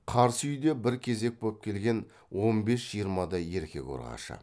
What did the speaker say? қарсы үйде бір кезек боп келген он бес жиырмадай еркек ұрғашы